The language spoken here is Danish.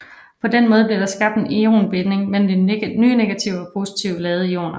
På den måde bliver der skabt en ionbinding mellem de nye negative og positive ladede ioner